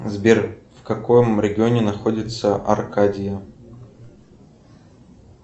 сбер в каком регионе находится аркадия